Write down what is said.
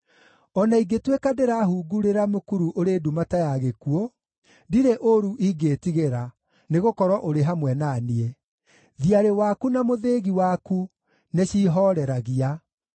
O na ingĩtuĩka ndĩrahungurĩra mũkuru ũrĩ nduma ta ya gĩkuũ, ndirĩ ũũru ingĩĩtigĩra, nĩgũkorwo ũrĩ hamwe na niĩ; thiarĩ waku na mũthĩgi waku nĩciihooreragia.